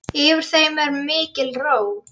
Yfir þeim er mikil ró.